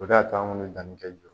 O de y'a to an kun bɛ danni kɛ